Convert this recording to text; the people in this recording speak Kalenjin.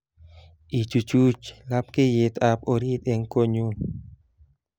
Ichuchuch lapkeiyetab orit eng konyun